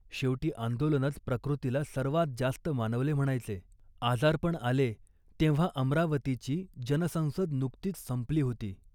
शेवटी आंदोलनच प्रकृतीला सर्वांत जास्त मानवले म्हणायचे. आजारपण आले तेव्हा अमरावतीची जनसंसद नुकतीच संपली होती